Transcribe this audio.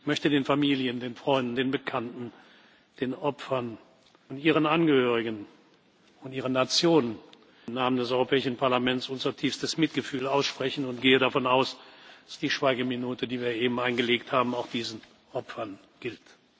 Ich möchte den Familien, den Freunden, den Bekannten, den Opfern und ihren Angehörigen und ihren Nationen im Namen des Europäischen Parlaments unser tiefstes Mitgefühl aussprechen und gehe davon aus, dass die Schweigeminute, die wir eben eingelegt haben, auch diesen Opfern gilt.